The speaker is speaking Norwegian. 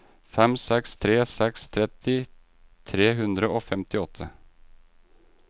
fem seks tre seks tretti tre hundre og femtiåtte